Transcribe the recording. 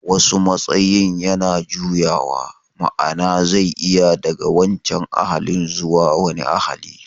Wasu matsayin yana juyawa, ma'ana zai iya daga wancan ahalin zuwa wani ahali